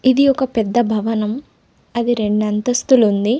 ఇది ఒక పెద్ద భవనం అది రెండంతస్తులు ఉంది.